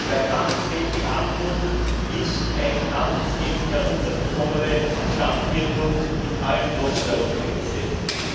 Der Kampf gegen die Armut ist ein Kampf gegen heruntergekommene Stadtviertel in allen großen europäischen Städten.